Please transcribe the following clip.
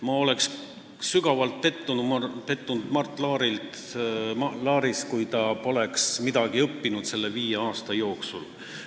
Ma oleks sügavalt pettunud Mart Laaris, kui ta poleks midagi õppinud selle viie aasta jooksul.